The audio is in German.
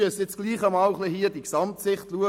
Wir müssen hier dennoch die Gesamtsicht betrachten.